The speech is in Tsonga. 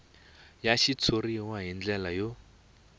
ya xitshuriwa hi ndlela yo